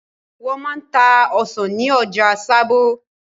Wọ́n máa ń ta ọsàn ní ọjà Sábó.